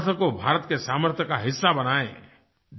अपने सामर्थ्य को भारत के सामर्थ्य का हिस्सा बनाएँ